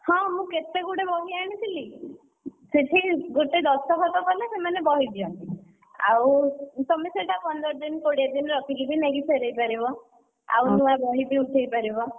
ହଁ ମୁଁ କେତେ ଗୁଡ଼େ ବହି ଆଣିଥିଲି, ସେଠି, ଗୋଟେ ଦସ୍ତଖତ କଲେ ସେମାନେ ବହି ଦିଅନ୍ତି, ଆଉ ତମେ ସେଇଟା ପନ୍ଦର ଦିନ କୋଡିଏ ଦିନ ରଖିକି ବି ନେଇକି ଫେରେଇ ପାରିବ। ଆଉ ନୂଆ ବହିବି ଉଠେଇପାରିବ।